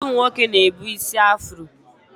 Ụfọdụ ụmụ nwoke na-ebu ísí afro